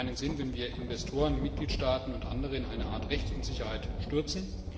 Es ist nicht sinnvoll, wenn wir Investoren, Mitgliedstaaten und andere in eine Art Rechtsunsicherheit stürzen.